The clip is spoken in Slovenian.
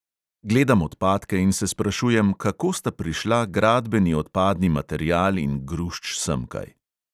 Gledam odpadke in se sprašujem, kako sta prišla gradbeni odpadni material in grušč semkaj.